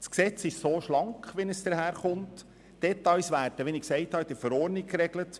Das vorliegende Gesetz ist schlank, und die Details werden wie gesagt in der Verordnung geregelt.